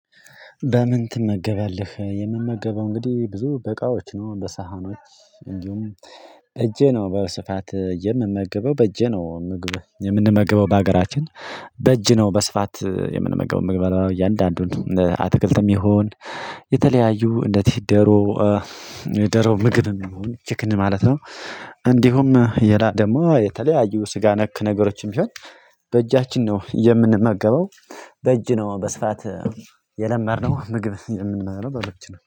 በምን? ትመገባለህ የምመገበው እንግዲህ ብዙ በእቃዎች ነው በሳህኖች እንዲሁም በእጄ ነው በስፋት የምመገበው በእጄ ነው ምግብ የምንመግበው በሀገራችን በእጅ ነው በስፋት የምንመገበው ምግብ የምንበላው እያንዳንዱን አትክልትም ይሁን የተለያዩ እንደዚህ ደሮ የዶሮ ምግብ ይሁን ችክን ማለት ነው። እንዲሁም የላ ደግሞ የተለያዩ ስጋ ነክ ነገሮችም ቢሆን በእጃችን ነው የምንመገበው። በእጅ ነው በስፋት የለመድነው ምግብ የምንበላው በእጅ ነው